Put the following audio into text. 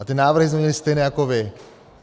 A ty návrhy jsme měli stejné jako vy.